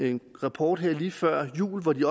en rapport her lige før jul hvor de